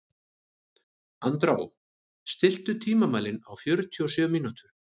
Andrá, stilltu tímamælinn á fjörutíu og sjö mínútur.